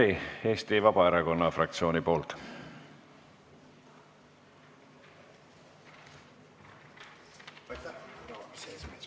Enn Meri Eesti Vabaerakonna fraktsiooni nimel.